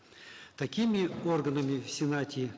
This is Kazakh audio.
такими органами в сенате